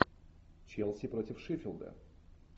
челси против шеффилда